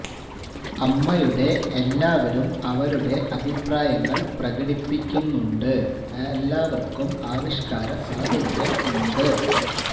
അമ്മയുടെ എല്ലാവരും അവരുടെ അഭിപ്രായങ്ങൾ പ്രകടിപ്പിക്കുന്നുണ്ട് ഉണ്ട് എല്ലാവർക്കും ആവിഷ്കാര സ്വാതന്ത്ര്യം ഉണ്ട്